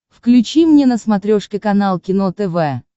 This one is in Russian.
включи мне на смотрешке канал кино тв